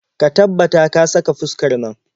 Ka tabbata ka saka fuskar nan.